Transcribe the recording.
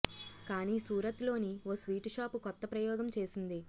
కానీ సూరత్ లోని ఓ స్వీట్ షాపు కొత్త ప్రయోగం చేసింది